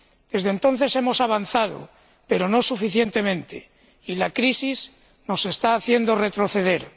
Desde entonces hemos avanzado, pero no suficientemente, y la crisis nos está haciendo retroceder.